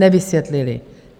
Nevysvětlili.